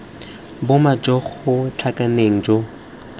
boma jo bo tlhakaneng jo